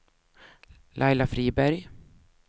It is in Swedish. Laila Friberg